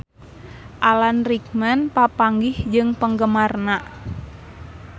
Alan Rickman papanggih jeung penggemarna